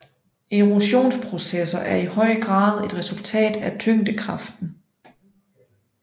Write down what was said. Erosionsprocesser er i høj grad et resultat af tyngdekraften